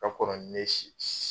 Ka kɔrɔ ni ne si si